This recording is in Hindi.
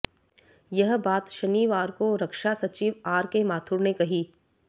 यह बात शनिवार को रक्षा सचिव आरके माथुर ने कही